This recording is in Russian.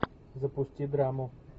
запусти драму